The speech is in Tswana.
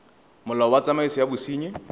molao wa tsamaiso ya bosenyi